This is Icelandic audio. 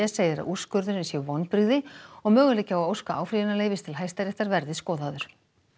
segir að úrskurðurinn sé vonbrigði og möguleiki á að óska áfrýjunarleyfis til Hæstaréttar verði skoðaður